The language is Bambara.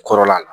Kɔrɔla la